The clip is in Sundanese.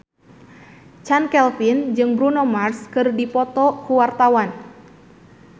Chand Kelvin jeung Bruno Mars keur dipoto ku wartawan